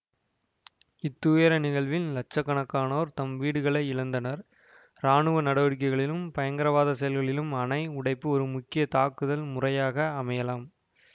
இத்துயர நிகழ்வில் இலட்சக்கணக்கானோர் தம் வீடுகளை இழந்தனர் இராணுவ நடவடிக்கைகளிலும் பயங்கரவாத செயல்களிலும் அணை உடைப்பு ஒரு முக்கிய தாக்குதல் முறையாக அமையலாம்